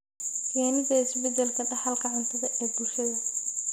Keenida isbeddelka dhaxalka cuntada ee bulshada.